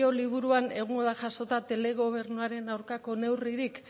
liburuan egongo da jasota telegobernuaren aurkako neurririk